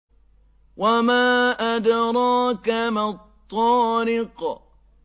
وَمَا أَدْرَاكَ مَا الطَّارِقُ